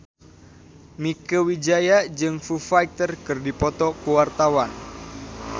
Mieke Wijaya jeung Foo Fighter keur dipoto ku wartawan